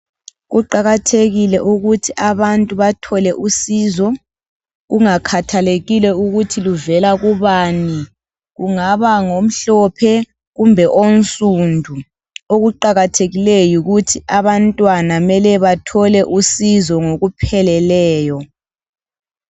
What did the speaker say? Kuqakathekile ukuthi abantu bathole usizo kungakhathalekile ukuthi luvela kubani ungaba ngomhlophe kumbe onsundu okuqakathekileyo yikuthi abantwana mele bathole usizo ngokupheleleyo